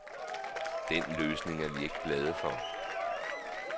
Den løsning er vi ikke glade for.